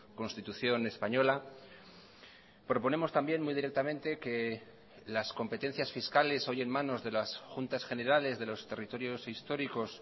constitución española proponemos también muy directamente que las competencias fiscales hoy en manos de las juntas generales de los territorios históricos